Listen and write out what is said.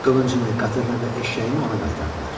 Qılıncını, qatırını və eşşəyini ona qaytardılar.